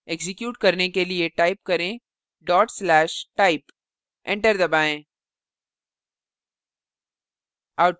execute करने के लिए type करें/type enter दबाएँ